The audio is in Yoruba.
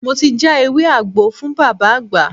Mo ti já ewé àgbo fún Bàbá àgbà.